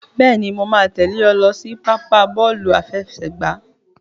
Bẹ́ẹ̀ni, màá tẹ̀lé ẹ lọ sí pápá bọ́ọ̀lù àfẹsẹ̀gbá.